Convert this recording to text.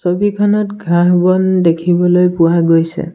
ছবিখনত ঘাঁহ-বন দেখিবলৈ পোৱা গৈছে।